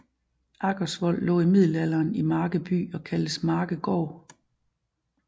Aggersvold lå i middelalderen i Marke by og kaldtes Markegaard